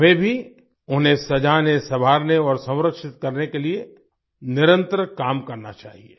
हमें भी उन्हें सजाने सवाँरने और संरक्षित करने के लिए निरंतर काम करना चाहिए